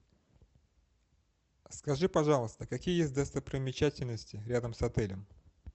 скажи пожалуйста какие есть достопримечательности рядом с отелем